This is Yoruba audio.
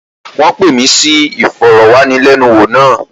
Rárá, wọ́n pè mí sí ìfọ̀rọ̀wánilẹ́niwò náà.